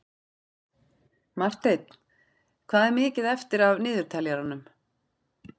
Marteinn, hvað er mikið eftir af niðurteljaranum?